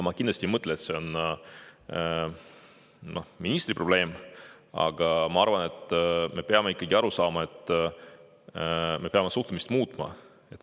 Ma kindlasti ei mõtle, et see on ministri probleem, aga ma arvan, et me peame ikkagi aru saama, et me peame oma suhtumist muutma.